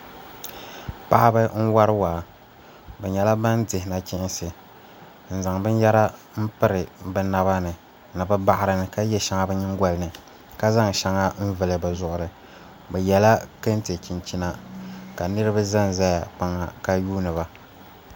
Paɣaba n wori waa bi nyɛla ban dihi nachiinsi n zaŋ binyɛra n piri bi naba ni ni bi baɣari ni ka yɛ shɛŋa bi nyingoli ni ka zaŋ shɛŋa n vuli bi zuɣuri bi yɛla kɛntɛ chinchina ka niraba ʒɛnʒɛ kpaŋ ha ka yuundiba